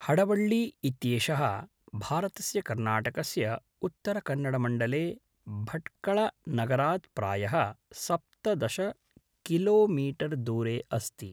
हडवळ्ळि इत्येषः भारतस्य कर्णाटकस्य उत्तरकन्नडमण्डले भट्कळनगरात् प्रायः सप्तदश किलोमीटर् दूरे अस्ति